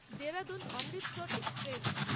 Dehradun Amritsar express